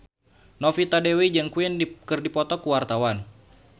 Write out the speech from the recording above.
Novita Dewi jeung Queen keur dipoto ku wartawan